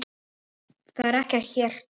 Það er ekki gert hér.